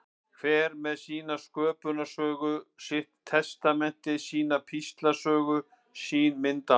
Hver með sína sköpunarsögu, sitt testamenti, sína píslarsögu og sín myndaalbúm.